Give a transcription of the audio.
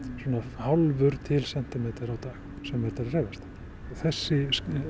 hálfur til sentimeter á dag sem þetta er að hreyfast þessi